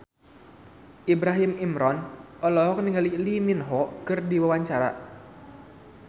Ibrahim Imran olohok ningali Lee Min Ho keur diwawancara